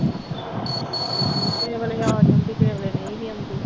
ਇਹ ਵੇਲੇ ਆ ਜਾਂਦੀ ਫੇਰ ਮੈਂ ਨਹੀਂ ਜਾਂਦੀ